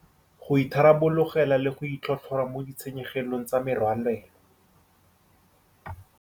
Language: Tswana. Go itharabologelwa le go itlhotlhora mo ditshenyegelong tsa merwalela